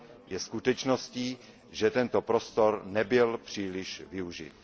Je skutečností, že tento prostor nebyl příliš využit.